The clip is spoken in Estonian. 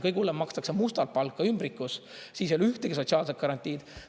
Kõige hullem, makstakse mustalt palka ümbrikus, siis ei ole ühtegi sotsiaalset garantiid.